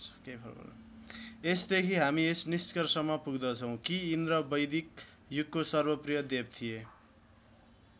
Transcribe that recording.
यसदेखि हामी यस निष्कर्षमा पुग्दछौं कि इन्द्र वैदिक युगको सर्वप्रिय देव थिए।